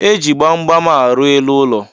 Eji gbamgbam arụ elu ụlọ